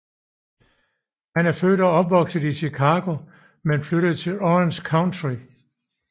Han er født og opvokset i Chicago men flyttede til Orange County